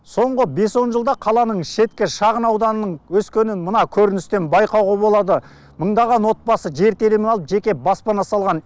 соңғы бес он жылда қаланың шеткі шағын ауданының өскенінін мына көріністен байқауға болады мыңдаған отбасы жер телімін алып жеке баспана салған